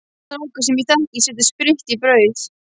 Strákur sem ég þekki setti spritt í brauð.